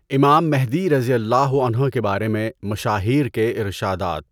امام مہدی رضی اللہ عنہ کے بارے میں مشاہیر کے ارشادات